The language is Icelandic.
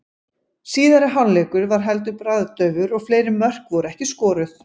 Síðari hálfleikur var heldur bragðdaufur og fleiri mörk voru ekki skoruð.